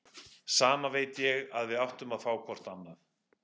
Samt veit ég að við áttum að fá hvort annað.